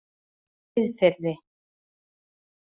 Miðfirði